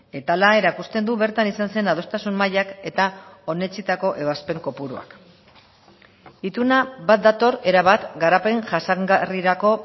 eta hala erakusten du bertan izan zen adostasun mailak eta onetsitako ebazpen kopuruak ituna bat dator erabat garapen jasangarrirako